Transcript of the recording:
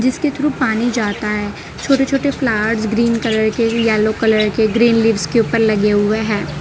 इसके थ्रू पानी जाता है छोटे छोटे प्लांट्स ग्रीन कलर के येलो कलर के ग्रीन लीव्स के ऊपर लगे हुए है।